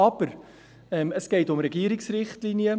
Aber: Es geht um Regierungsrichtlinien.